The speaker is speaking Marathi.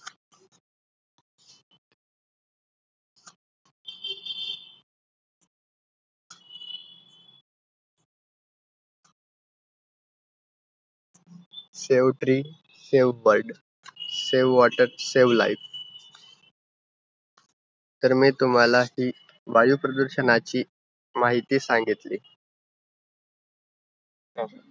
Save trees, save bird. save water, save life. तर मी तुम्हांला हि वायुप्रदूषणाचा माहिती सांगितली.